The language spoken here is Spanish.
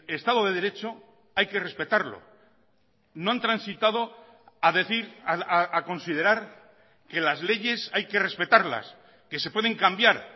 estado de derecho hay que respetarlo no han transitado a decir a considerar que las leyes hay que respetarlas que se pueden cambiar